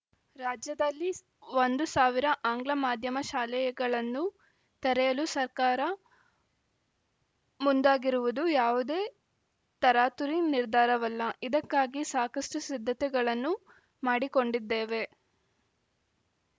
ರಾಜ್ಯದಲ್ಲಿ ಒಂದು ಸಾವಿರ ಆಂಗ್ಲ ಮಾಧ್ಯಮ ಶಾಲೆಗಳನ್ನು ತೆರೆಯಲು ಸರ್ಕಾರ ಮುಂದಾಗಿರುವುದು ಯಾವುದೇ ತರಾತುರಿ ನಿರ್ಧಾರವಲ್ಲ ಇದಕ್ಕಾಗಿ ಸಾಕಷ್ಟುಸಿದ್ಧತೆಗಳನ್ನು ಮಾಡಿಕೊಂಡಿದ್ದೇವೆ